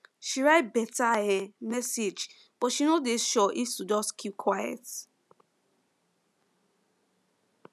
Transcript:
she write better um message but she no dey sure if to just keep quiet